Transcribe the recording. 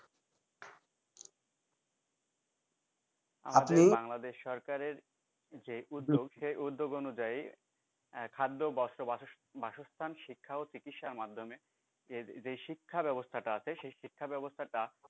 বাংলাদেশ সরকারের যে উদ্যোগ সেই উদ্যোগ অনুযায়ী আহ খাদ্য বস্ত্র বাসস্থান শিক্ষা ও চিকিৎসা এর মাধ্যেম যে শিক্ষা ব্যাবস্থা টা আছে সেই শিক্ষা ব্যাবস্থা টা।